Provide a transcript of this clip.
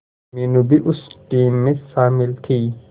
मीनू भी उस टीम में शामिल थी